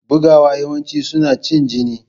Bugawa yawanci suna cin jini.